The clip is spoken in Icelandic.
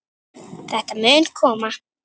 Þetta mun koma.